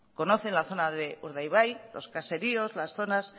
conocen la zona de urdaibai los caseríos las zonas